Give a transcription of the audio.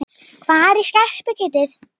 Hvar er skerpikjötið?